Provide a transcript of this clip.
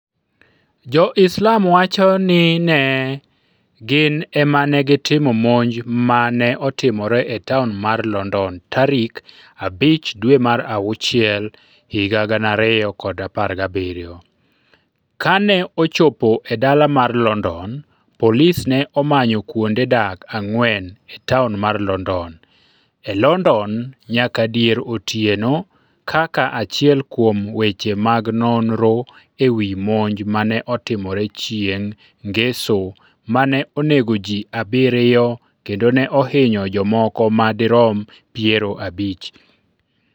Jo-Islam wacho ni ne gin e ma ne gitimo monj ma ne otimore e taon mar London tarik 5 dwe mar auchiel, 2017. Kane ochopo e dala mar London, polis ne omanyo kuonde dak ang'wen e taon mar London. E London nyaka dier otieno kaka achiel kuom weche mag nonro e wi monj ma ne otimore chieng ' Ngeso ma ne onego ji abiriyo kendo ne ohinyo jomoko ma dirom piero abich.